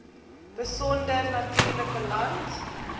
besonder natuurlike land